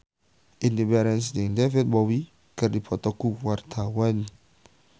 Indy Barens jeung David Bowie keur dipoto ku wartawan